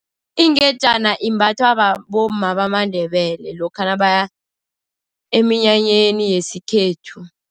Ingejana imbathwa bomma bamaNdebele lokha nabaya eminyanyeni yesikhethu.